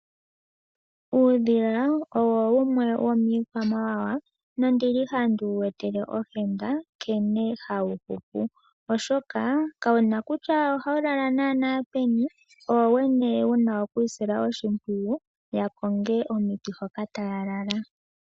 Uudhila owo wumwe womii kwamawawa, no ndili handi wu etele ohenda nkene hawu hupu. Oshoka kawu na kutya ohawu lala naana peni, owo wene wuna okwiisila oshimpwiyu ya konge omiti hoka taya lala.